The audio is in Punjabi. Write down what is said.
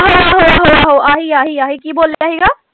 ਆਹੋ ਆਹੋ ਆਹੀ ਆਹੀ ਆਹੀ ਕੀ ਬੋਲਿਆ ਸੀਗਾ?